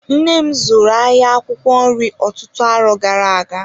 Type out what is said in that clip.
Nnem zụrụ ahịa akwụkwọ nri ọtụtụ arọ gara-aga.